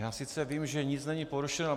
Já sice vím, že nic není porušeno.